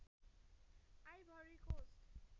ivory cost